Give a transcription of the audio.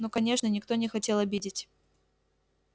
ну конечно никто не хотел обидеть